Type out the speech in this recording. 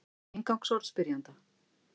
Inngangsorð spyrjanda: